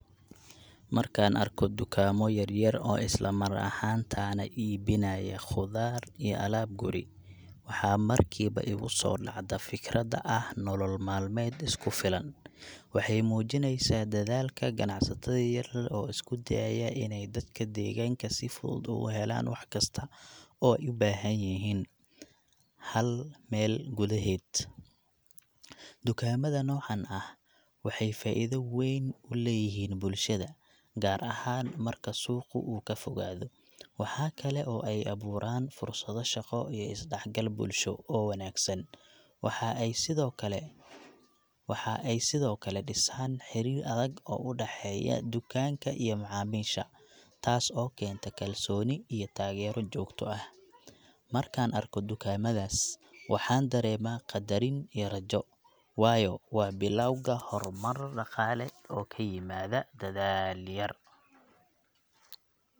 Markaan arko dukaamo yaryar oo isla mar ahaantaana iibinaya khudaar iyo alaab guri, waxa markiiba igu soo dhacda fikradda ah nolol maalmeed isku filan. Waxay muujinaysaa dadaalka ganacsatada yar yar oo isku dayaya inay dadka deegaanka si fudud ugu helaan wax kasta oo ay u baahan yihiin, hal meel gudaheed. Dukaamada noocan ah waxay faa'iido weyn u leeyihiin bulshada, gaar ahaan marka suuqu uu ka fogaado. Waxaa kale oo ay abuuraan fursado shaqo iyo is-dhexgal bulsho oo wanaagsan. Waxa ay sidoo kale , waxa ay sidoo kale dhisaan xiriir adag oo u dhexeeya dukaanka iyo macaamiisha, taas oo keenta kalsooni iyo taageero joogto ah. Markaan arko dukaamadaas, waxaan dareemaa qadarin iyo rajo, waayo waa bilowga horumar dhaqaale oo ka yimaada dadaal yar.